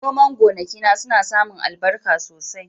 Noman gonakina suna samun albarka sosai.